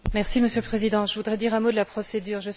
Monsieur le Président, je voudrais dire un mot de la procédure.